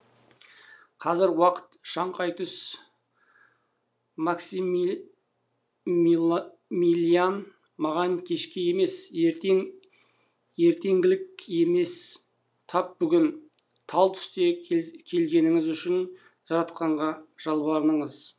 қазір уақыт шаңқай түс максимилиан маған кешке емес ертең ертеңгілік емес тап бүгін тал түсте келгеніңіз үшін жаратқанға жалбарыныңыз